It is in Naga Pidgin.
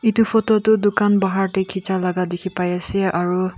eto photo toh Tukan pahar teh kechia laga teki ase aro.